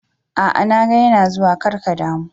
A'a na ga yana zuwa, kar ka damu.